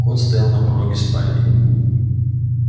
кот стоял на пороге спальни